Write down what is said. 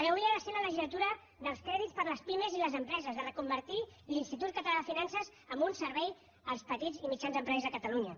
havia de ser la legislatura dels crèdits per a les pimes i les empreses de reconvertir l’institut català de finances en un servei als petits i mitjans empresaris de catalunya